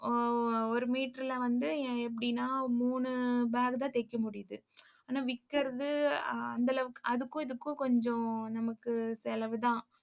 ஆஹ் ஒரு ஒரு meter ல வந்து எப்படின்னா மூணு bag தான் தைக்க முடியுது ஆனா விக்கிறது அந்த அளவுக்கு அதுக்கும் இதுக்கும் கொஞ்சம் நமக்கு செலவுதான்.